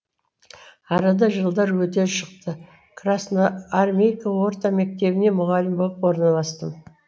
арада жылдар өте шықты красноармейка орта мектебіне мұғалім болып орналастым